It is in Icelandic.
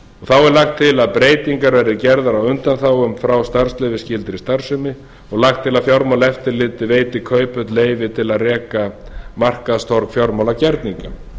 þá er lagt til að breytingar verði gerðar á undanþágum frá starfsleyfisskyldri starfsemi og lagt til að fjármálaeftirlitið veiti kauphöll leyfi til að reka markaðstorg fjármálagerninga